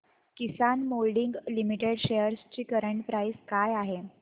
किसान moulding limited shares ची current price काय आहे